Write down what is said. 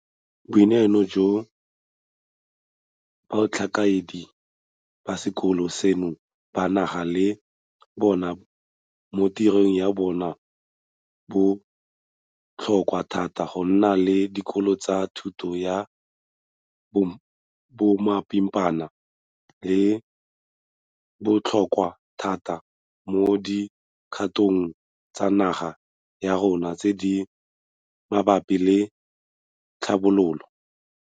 Boineelo jo batlhankedi ba sekolo seno ba nang le bona mo tirong ya bona bo botlhokwa thata go nne dikolo tsa thuto ya bomapimpana di botlhokwa thata mo di kgatong tsa naga ya rona tse di mabapi le tlhabologo.